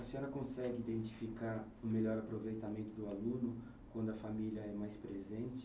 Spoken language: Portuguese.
A senhora consegue identificar o melhor aproveitamento do aluno quando a família é mais presente?